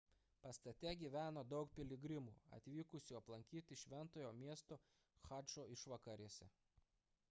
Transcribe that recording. pastate gyveno daug piligrimų atvykusių aplankyti šventojo miesto chadžo išvakarėse